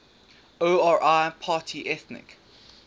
ori party ethnic